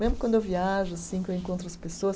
Mesmo quando eu viajo assim, que eu encontro as pessoas.